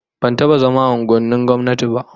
Ban taba zama a unguwannin gwamnati ba